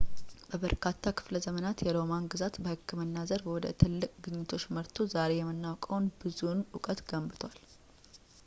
በበርካታ ክፍለዘመናት የሮማን ግዛት በሕክምና ዘርፍ ወደ ትልቅ ግኝቶች መርቶ ዛሬ የምናውቀውን ብዙውን ዕውቀት ገንብቷል